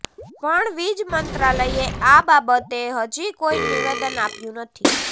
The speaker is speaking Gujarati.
પણ વીજ મંત્રાલયે આ બાબતે હજી કોઈ નિવેદન આપ્યું નથી